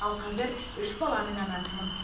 ал қазір үш баланың анасымын